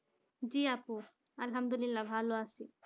জি আপু আলহামদুলিল্লাহ ভালো আছি।